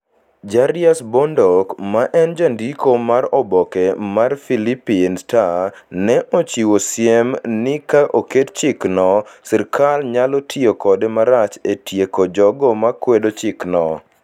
Jarius Bondoc, ma en jandiko mar oboke mar Philippine Star, ne ochiwo siem ni ka oket chikno, sirkal nyalo tiyo kode marach e tieko jogo makwedo chikno: